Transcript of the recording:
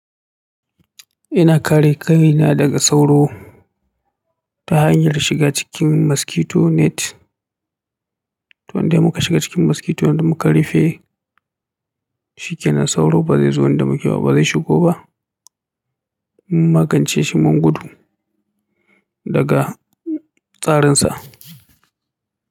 Ina kare kaina daga sauro ta hanyar shiga cikin mosquito net. To in dai muka shiga cikin mosquito nan muka rufe, shikenan sauro ba zai zo inda muke ba, ba zai shigo ba. Mun magance shi mun gudu, daga tsarin sa.